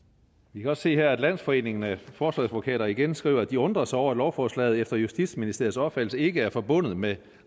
vi kan også se her at landsforeningen af forsvarsadvokater igen skriver at de undrer sig over at lovforslaget efter justitsministeriets opfattelse ikke er forbundet med